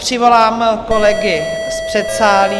přivolám kolegy z předsálí.